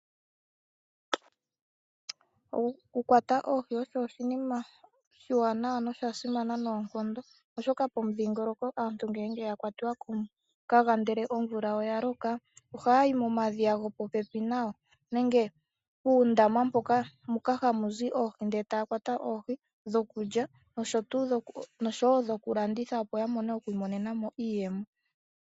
Okukwata oohi osho oshinima oshiwanawa na oshasimana noonkondo, oshoka pomudhingoloko aantu ngenge yakwatiwa komukaga ndele omvula oyaloka, ohayi momadhiya gopopepi nayo nenge puundama moka hamu zi oohi nde tayakwata oohi ndhoka dhokulya nosho wo dhokulanditha opo yamone okwiimonenamo iiyemo .